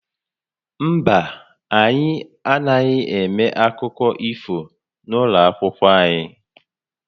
Mba, anyị anaghị eme akụkọ ifo n'ụlọ akwụkwọ anyị